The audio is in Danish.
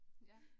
Ja